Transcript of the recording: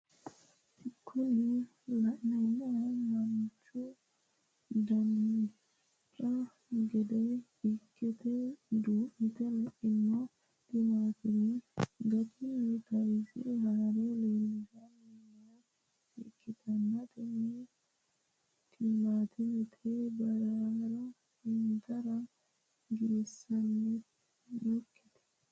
Kuni la'neemohu manchu dancha gede ikkite duu'mite le"ino timaatime gatinni tayiise haare leelishanni nooha ikkanna tini timaatime bura intiro giwisannote.